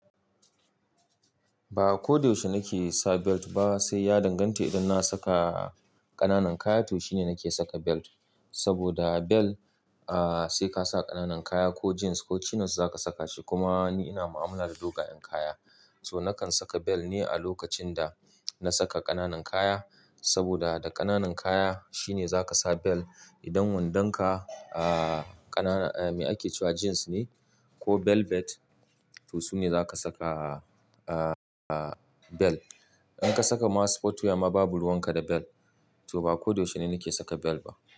Ba ko da yaushe nake saka belt ba, sai ya danganta idan na saka ƙananan kaya toh shine nake saka belt. Saboda belt, sai ka sa ƙananan kaya ko jeans ko chinos za ka saka shi. Kuma ni ina mu'amala da dogayen kaya, so nakan saka belt ne a lokacin da na saka ƙananan kaya. Saboda da ƙananan kaya shine za ka sa belt. Idan wandonka ƙanana, eh, me ake cewa jeans ne ko velvet, toh sune za ka saka belt. In ka saka ma sport wear ma babu ruwan ka da belt. To ba ko da yaushe ni nake saka belt ba.